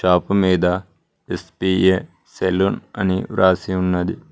Shop మీద S B A salon అని వ్రాసి ఉన్నది.